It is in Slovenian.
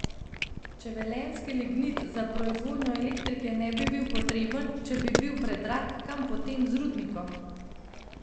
Če velenjski lignit za proizvodnjo elektrike ne bi bil potreben, če bi bil predrag, kam potem z rudnikom?